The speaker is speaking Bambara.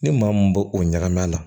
Ni maa mun b'o o ɲagami a la